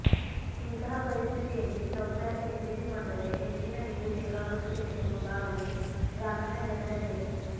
ಇಂತಹ ಪರಿಸ್ಥಿತಿಯಲ್ಲಿ ಶೌಚಾಲಯ ನಿರ್ಮಿಸಿಕೊಂಡರೇ ಹೆಚ್ಚಿನ ನೀರು ಬೇಕಾಗುತ್ತದೆ ಎನ್ನುವ ಭಾವನೆ ಗ್ರಾಮೀಣ ಜನರಲ್ಲಿದೆ